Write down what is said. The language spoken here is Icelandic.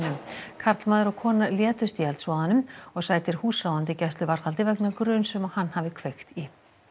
karlmaður og kona létust í eldsvoðanum og sætir húsráðandi gæsluvarðhaldi vegna gruns um að hann hafi kveikt í